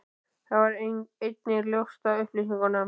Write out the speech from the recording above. Það varð einnig ljóst af upplýsingum